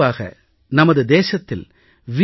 பொதுவாக நமது தேசத்தில் வி